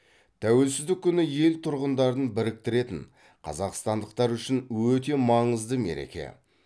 тәуелсіздік күні ел тұрғындарын біріктіретін қазақстандықтар үшін өте маңызды мереке